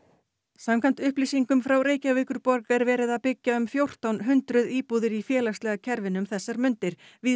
samkvæmt upplýsingum frá Reykjavíkurborg er verið að byggja um fjórtán hundruð íbúðir í félagslega kerfinu um þessar mundir víðs